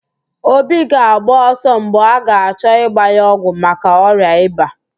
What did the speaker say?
Obi ga-agba ọsọ mgbe a ga-achọ ịgba ya ọgwụ maka ọrịa ịba